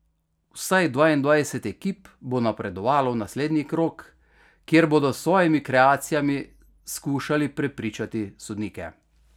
Vsaj dvaindvajset ekip bo napredovalo v naslednji krog, kjer bodo s svojimi kreacijami skušali prepričati sodnike.